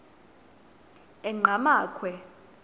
enqgamakhwe